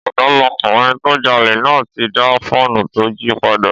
Ọ̀dọ́mọkùnrin tó jalè náà ti dá fóònù tó jí padà